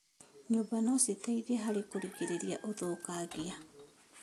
Nyũmba no citeithie harĩ kũgirĩrĩria ũthũkangia.